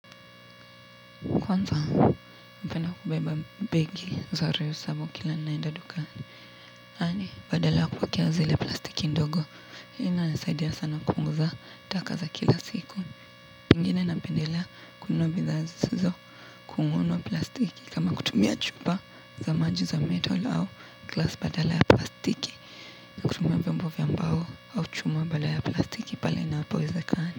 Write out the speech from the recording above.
Kwanza, napenda kubeba begi za rehusabu kila ninaenda dukani. Yaani, badala ya kuwekea zile plastiki ndogo. Hii inanisaidia sana kupunguza taka za kila siku. Ingine napendelea kunua bidhaa zisizo kununua plastiki kama kutumia chupa za maji za metal au glasa badala ya plastiki. Kutumia vyombo vya mbao au chuma badala ya plastiki pale inapowezakana.